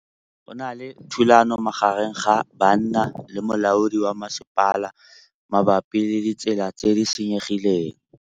Go na le thulanô magareng ga banna le molaodi wa masepala mabapi le ditsela tse di senyegileng.